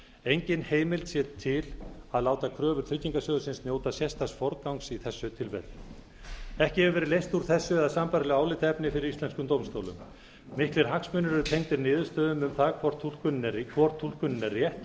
engin heimild sé til að láta kröfu tryggingarsjóðsins njóta sérstaks forgangs í þessu tilfelli ekki hefur verið leyst úr þessu eða sambærilegu álitaefni fyrir íslenskum dómstólum miklir hagsmunir eru tengdir niðurstöðu um það hvor túlkunin er rétt og